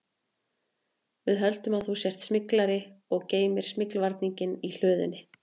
Við höldum að þú sért smyglari og geymir smyglvarninginn í hlöðunni